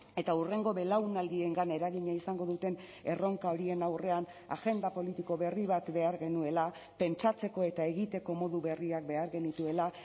eta hurrengo belaunaldiengan eragina izango duten erronka horien aurrean agenda politiko berri bat behar genuela pentsatzeko eta egiteko modu berriak behar genituela